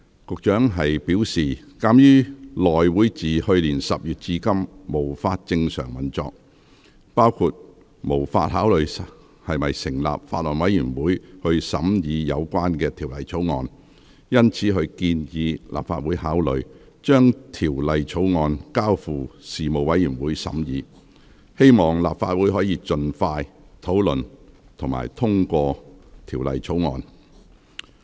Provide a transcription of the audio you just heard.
局長表示，鑒於內會自去年10月至今無法正常運作，包括無法考慮是否成立法案委員會審議有關《條例草案》，因此他建議立法會考慮將《條例草案》交付事務委員會審議，希望立法會可盡快討論並通過《條例草案》。